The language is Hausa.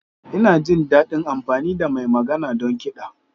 Ina jin daɗin amfani da mai magana don kiɗa.